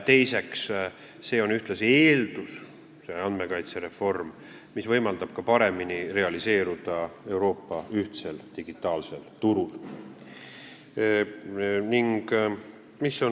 Teiseks on see andmekaitsereform ühtlasi eeldus, mis võimaldab paremini realiseeruda Euroopa ühtsel digitaalsel turul.